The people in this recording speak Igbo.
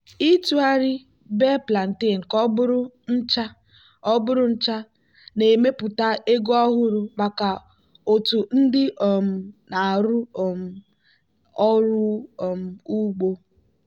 ịtụgharị bee plantain ka ọ bụrụ ncha ọ bụrụ ncha na-emepụta ego ọhụrụ maka otu ndị um na-arụ um ọrụ um ugbo.